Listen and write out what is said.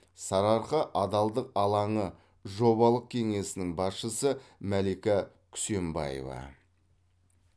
сарыарқа адалдық алаңы жобалық кеңсесінің басшысы мәлика күсенбаева